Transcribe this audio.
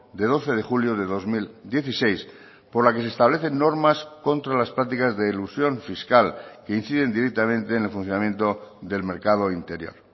de doce de julio de dos mil dieciséis por la que se establecen normas contra las prácticas de elusión fiscal que inciden directamente en el funcionamiento del mercado interior